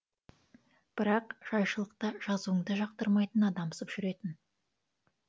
бірақ жайшылықта жазуыңды жақтырмайтын адамсып жүретін